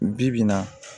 Bi-bi in na